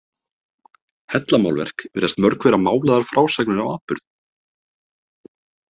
Hellamálverk virðast mörg vera málaðar frásagnir af atburðum.